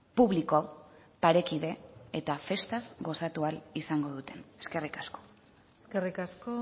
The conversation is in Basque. publiko parekide eta festaz goxatu ahal izango duten eskerrik asko eskerrik asko